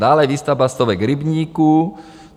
Dále výstavba stovek rybníků -